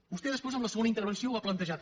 vostè després en la segona intervenció ho ha plantejat